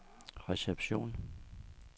reception